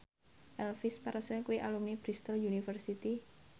Elvis Presley kuwi alumni Bristol university